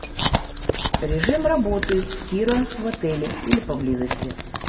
режим работы тира в отеле или поблизости